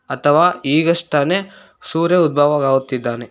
ಅಥವ ಈಗಷ್ಟ್ ತಾನೆ ಸೂರ್ಯ ಉದ್ಭವವಾಗುತ್ತಿದ್ದಾನೆ.